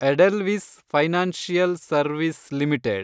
Edelweiss financial service limited